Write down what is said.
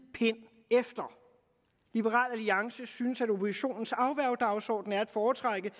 pind efter liberal alliance synes at oppositionens afværgedagsorden er at foretrække